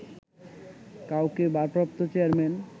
কাউকে ভারপ্রাপ্ত চেয়ারম্যান